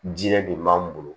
Diɲɛ don b'an bolo